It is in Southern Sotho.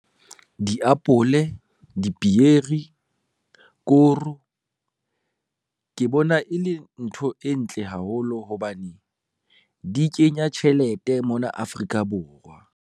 Diapole, dipieri, koro, ke bona e le ntho e ntle haholo hobane di kenya tjhelete mona Afrika Borwa.